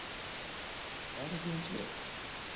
Færa þig um set?